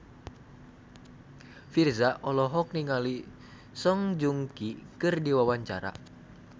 Virzha olohok ningali Song Joong Ki keur diwawancara